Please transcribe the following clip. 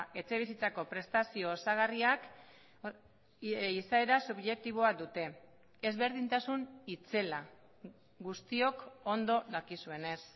etxe bizitzako prestazio osagarriak izaera subjektiboa dute ezberdintasun itzela guztiok ondo dakizuenez